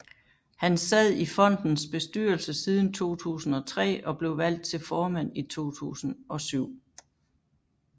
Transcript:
Han sad i fondens bestyrelse siden 2003 og blev valgt til formand i 2007